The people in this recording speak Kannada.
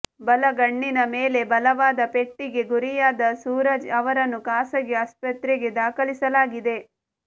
ಬಲಗಣ್ಣಿನ ಮೇಲೆ ಬಲವಾದ ಪೆಟ್ಟಿಗೆ ಗುರಿಯಾದ ಸೂರಜ್ ಅವರನ್ನು ಖಾಸಗಿ ಆಸ್ಪತ್ರೆಗೆ ದಾಖಲಿಸಲಾಗಿದೆ